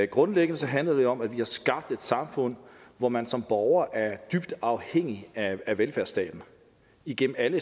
grundlæggende handler det om at vi har skabt et samfund hvor man som borger er dybt afhængig af velfærdsstaten igennem alle